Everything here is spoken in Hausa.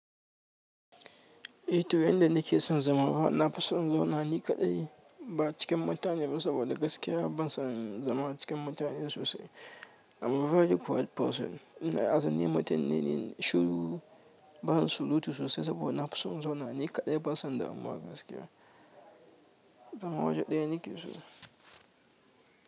Ehto yadda nakesan zama nafison na zauna ni kaɗai ba cikin mutane ba sabida gaskiya bana san zama cikin mutane sosai amma very good person. Ine aza ni mutum ne me shiru ban surutu sosai saboda na fi son in zauna ni kaɗai ban son damuwa gaskiya. Zama waje ɗaya ni kesu.